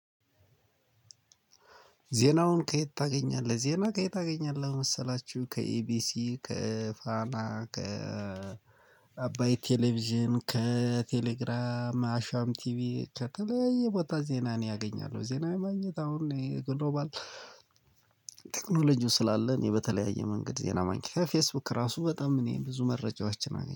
ዜናውን ከየት ታገኛለህ? ዜና ከየት አገኛለሁ? መሰላችሁ ከኢቢሲ ከፋና ከ አባይ ቴሌቪዥን ከቴሌግራም አሻም ቲቪ ከተለያየ ቦታ ዜና እኔ አገኛለሁ። ዜና ማግኘት አሁን ይሄ ግሎባል ቴክኖሎጂው ስላለ እኔ በተለያየ መንገድ ዜና ማግኘት ከፌስቡክ ራሱ በጣም እኔ ብዙ መረጃዎቻችን አገኝ